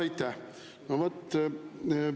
Aitäh!